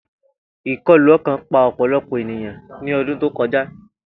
Ikọlu ọkan pa ọpọlọpọ eniyan ni ọdun to kọja.